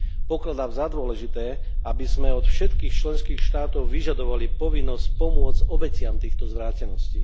Pokladám za dôležité, aby sme od všetkých členských štátov vyžadovali povinnosť pomôcť obetiam týchto zvráteností.